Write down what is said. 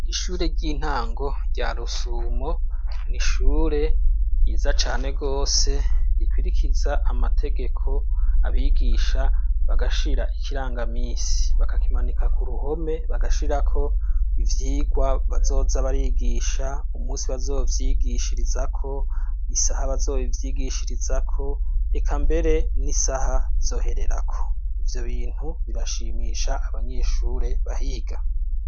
Ishure ry'intango rya rusumo ni ishure yiza cane rwose rikwirikiza amategeko abigisha bagashira ikirangamisi bagakimanika ku ruhome bagashirako ivyirwa bazoza barigisha umusi bazovyigishirizako isahabaa azoba ivyigishirizako eka mbere n'isaha zohererako ivyo bintu birashimisha abanyeshure bahiga.